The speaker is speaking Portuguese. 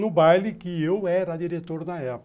No baile que eu era diretor na época.